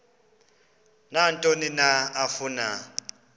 nantoni na afuna